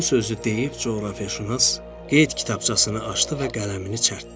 Bu sözü deyib coğrafiyaşünas qeyd kitabçasını açdı və qələmini çərtdi.